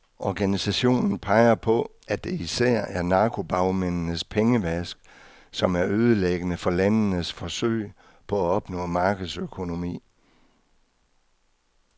Organisationen peger på, at det især er narkobagmændenes pengevask, som er ødelæggende for landenes forsøg på at opnå markedsøkonomi.